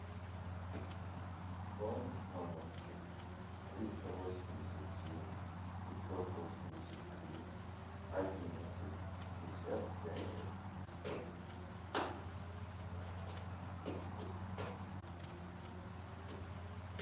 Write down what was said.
пополнить номер триста восемьдесят семь пятьсот восемьдесят три одиннадцать пятьдесят пять